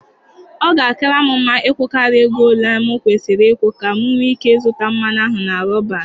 Ọ ga-akara m mma ịkwụkarịa ego ole m kwesịrị ụkwụ ka m nwee ike zụta mmanụ ahụ na Roban.